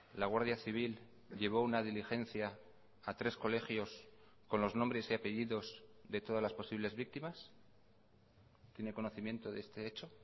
la guardia civil llevó una diligencia a tres colegios con los nombres y apellidos de todas las posibles víctimas tiene conocimiento de este hecho